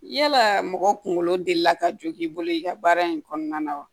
Yalaa mɔgɔ kunkolo delila ka jo k'i bolo i ka baara in kɔnɔna na wa